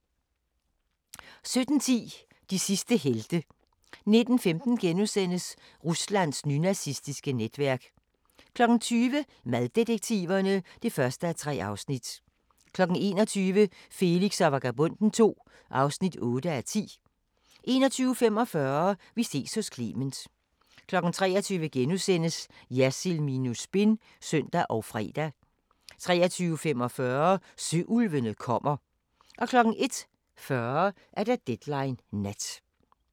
17:10: De sidste helte 19:15: Ruslands nynazistiske netværk * 20:00: Maddetektiverne (1:3) 21:00: Felix og Vagabonden II (8:10) 21:45: Vi ses hos Clement 23:00: Jersild minus spin *(søn og fre) 23:45: Søulvene kommer 01:40: Deadline Nat